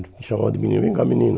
Ele me chamava de menino, vem cá, menino.